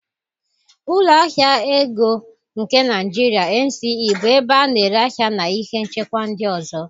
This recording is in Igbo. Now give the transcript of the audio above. Ụlọ ahịa ego nke Nigeria (NSE) bụ ebe a na-ere ahịa na ihe nchekwa ndị ọzọ.